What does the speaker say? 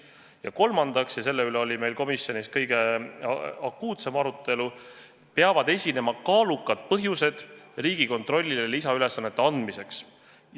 Ja kolmandaks – ja selle üle oli meil komisjonis kõige akuutsem arutelu – peavad esinema kaalukad põhjused Riigikontrollile lisaülesannete andmiseks.